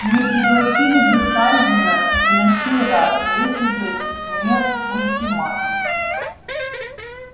не пригласили бы хардина и на сей раз если бы не ультиматум